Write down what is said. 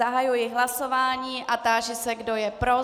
Zahajuji hlasování a táži se, kdo je pro?